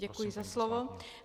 Děkuji za slovo.